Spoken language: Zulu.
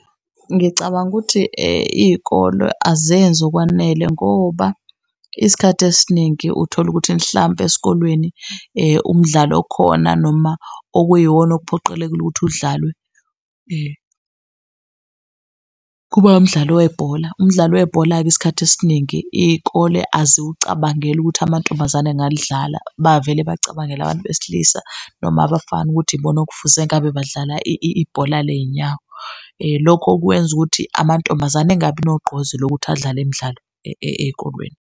Ngicabanga ukuthi iy'kolwe azenzi okwanele ngoba isikhathi esiningi uthola ukuthi mhlampe esikolweni umdlalo okhona, noma okuyiwona okuphoqelekile ukuthi udlalwe kuba umdlalo webhola. Umdlalo webhola-ke isikhathi esiningi iy'kole aziwucabangeli ukuthi amantombazane angalidlala. Bavele bacabangele abantu besilisa noma abafana ukuthi ibona okufuze ngabe badlala ibhola ley'nyawo. Lokhu okwenza ukuthi amantombazane engabi nogqozi lokuthi adlale imdlalo ey'kolweni.